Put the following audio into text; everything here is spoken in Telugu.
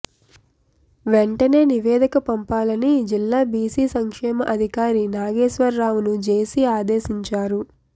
వెంటనే నివేదిక పంపాలని జిల్లా బీసీ సంక్షేమ అధికారి నాగేశ్వరరావును జేసీ ఆదేశించారు